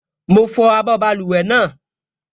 Mo fọ abọ́ báluwẹ̀ náà